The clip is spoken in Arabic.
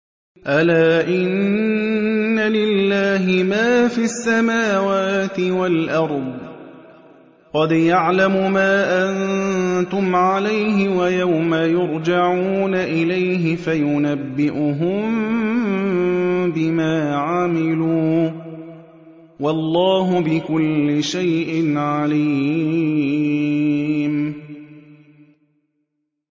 أَلَا إِنَّ لِلَّهِ مَا فِي السَّمَاوَاتِ وَالْأَرْضِ ۖ قَدْ يَعْلَمُ مَا أَنتُمْ عَلَيْهِ وَيَوْمَ يُرْجَعُونَ إِلَيْهِ فَيُنَبِّئُهُم بِمَا عَمِلُوا ۗ وَاللَّهُ بِكُلِّ شَيْءٍ عَلِيمٌ